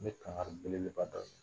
N bɛ kankari belebeleba dɔ